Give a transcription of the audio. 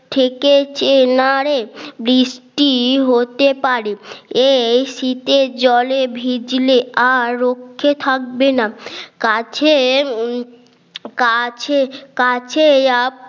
থেকেছে না রে বৃষ্টি হতে পারে এই শীতের জলে ভিজলে আর রক্ষে থাকবে না কাছের কাছে কাছে আহ